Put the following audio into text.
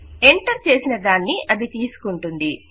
enter చేసిన దానిని అది తీసుకుంటుంది